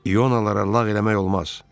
İonalara lağ eləmək olmaz.